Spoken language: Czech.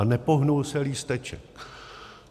A nepohnul se lísteček.